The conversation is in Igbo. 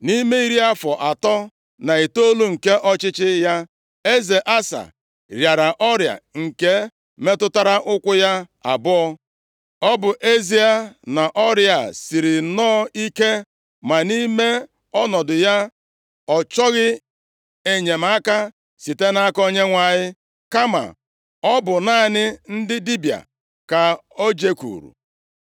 Nʼime iri afọ atọ na itoolu nke ọchịchị ya, eze Asa rịara ọrịa nke metụtara ụkwụ ya abụọ. Ọ bụ ezie na ọrịa a siri nọọ ike ma nʼime ọnọdụ ya ọ chọghị enyemaka site nʼaka Onyenwe anyị kama ọ bụ naanị ndị dibịa ka o jekwuru.